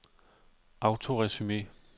autoresume